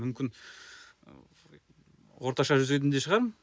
мүмкін ыыы орташа жүзетін де шығармын